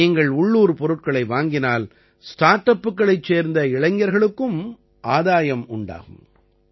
நீங்கள் உள்ளூர் பொருட்களை வாங்கினால் ஸ்டார்ட் அப்புகளைச் சேர்ந்த இளைஞர்களுக்கும் ஆதாயம் உண்டாகும்